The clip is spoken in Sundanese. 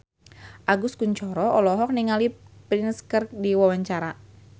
Agus Kuncoro olohok ningali Prince keur diwawancara